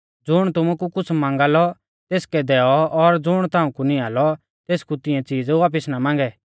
ज़ुण तुमु कु कुछ़ मांगा लौ तेसकै दैऔ और ज़ुण ताऊं कु निंआ लौ तेसकु तिंऐ चीज़ वापिस ना मांगै